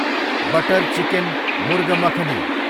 butter chicken, murgh makhani